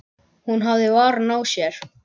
Hún hafði varann á sér.